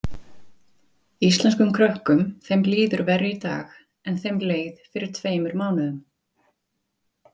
Björn Þorláksson: Íslenskum krökkum þeim líður verr í dag en þeim leið fyrir tveimur mánuðum?